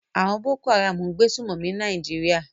Àwon Boko Haram n gbé sùmòmí ní Naijiria